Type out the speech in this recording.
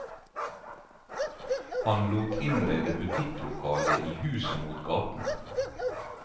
Han lot innrede butikklokale i huset mot gaten.